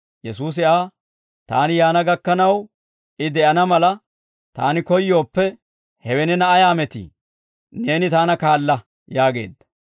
Yesuusi Aa, «Taani yaana gakkanaw I de'ana mala Taani koyyooppe, hewe neena ayaa metii? Neeni Taana kaala» yaageedda.